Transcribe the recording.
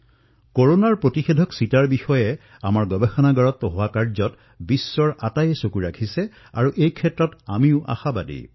কৰোনাৰ প্ৰতিষেধকত আমাৰ গৱেষণাগাৰত যি কাম হবলৈ ধৰিছে সেইসমূহ সমগ্ৰ বিশ্বই প্ৰত্যক্ষ কৰি আছে আৰু সকলোৱে আশাও প্ৰকট কৰিছে